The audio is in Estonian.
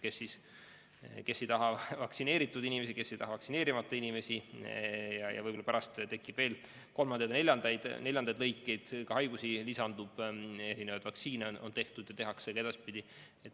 Kes ei taha vaktsineeritud inimesi, kes ei taha vaktsineerimata inimesi ja võib-olla tekib veel kolmandaid ja neljandaid kategooriaid – haigusi lisandub, erinevaid vaktsiine on tehtud ja tehakse ka edaspidi.